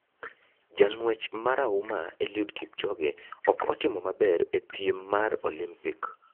Jang'uech mara huma Eliud Kipchoge ok otimo maber e piem mar olimpik.